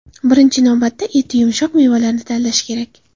Birinchi navbatda, eti yumshoq mevalarni tanlash kerak.